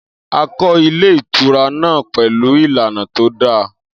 Akọ ilé ìtura na pẹ̀lú ìlànà tó da